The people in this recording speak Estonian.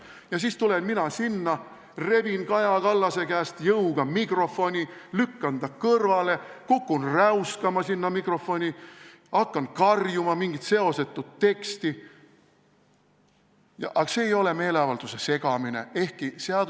Ja siis tulen mina sinna, rebin Kaja Kallase käest jõuga mikrofoni, lükkan ta kõrvale, kukun räuskama sinna mikrofoni, hakkan karjuma mingit seosetut teksti, ja see ei ole meeleavalduse segamine!